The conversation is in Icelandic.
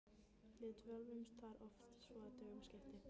Við dvöldumst þar oft svo að dögum skipti.